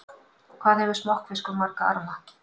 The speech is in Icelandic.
Hvað hefur smokkfiskur marga arma?